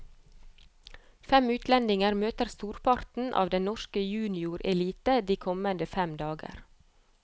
Fem utlendinger møter storparten av den norske juniorelite de kommende fem dager.